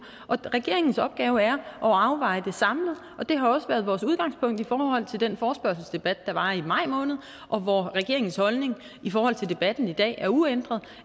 regeringens opgave er at afveje det samlet og det har også været vores udgangspunkt i forhold til den forespørgselsdebat der var i maj måned og hvor regeringens holdning i forhold til debatten i dag er uændret